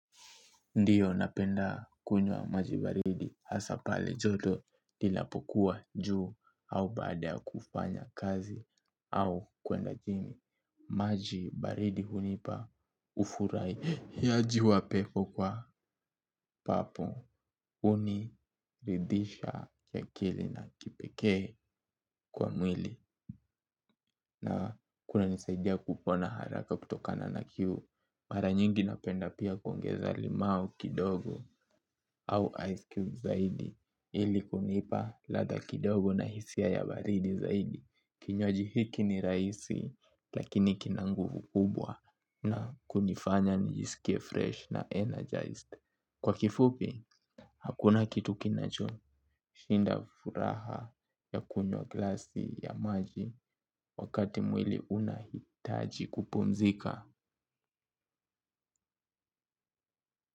Ndiyo napenda kunywa maji baridi hasaa pale joto inapokuwa juu au baada ya kufanya kazi au kuenda gym. Maji baridi hunipa ufurahiaji wa pepo kwa papo. Huniridhisha akili na kipekee kwa mwili na kunanisaidia kupona haraka kutokana na kiu. Mara nyingi napenda pia kuongeza limau kidogo au ice cube zaidi ili kunipa latha kidogo na hisia ya baridi zaidi. Kinywaji hiki ni rahisi lakini kina nguvu kubwa na kunifanya nijisikie fresh na energized. Kwa kifupi, hakuna kitu kinachoshinda furaha ya kunywa glasi ya maji wakati mwili unahitaji kupumzika.